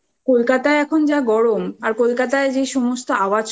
কোলকাতায় এখন যা গরম আর কোলকাতায় যে সমস্ত আওয়াজ